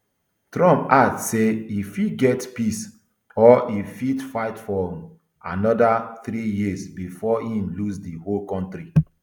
trump add say e fit get peace or e fit fight for um anoda three years bifor im lose di whole kontri